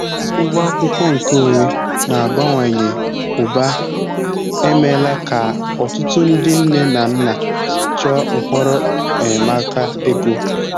Ụgwọ akwụkwọ nkeonwe n'abawanye ụba emeela ka ọtụtụ ndị nne na nna chọọ nhọrọ enyemaka ego.